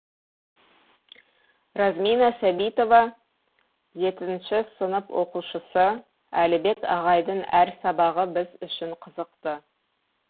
размина сәбитова жетінші сынып оқушысы әлібек ағайдың әр сабағына біз үшін қызықты